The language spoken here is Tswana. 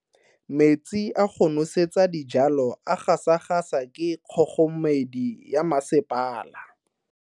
Metsi a go nosetsa dijalo a gasa gasa ke kgogomedi ya masepala.